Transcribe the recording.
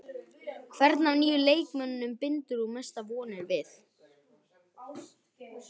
Hvern af nýju leikmönnunum bindur þú mestar vonir við?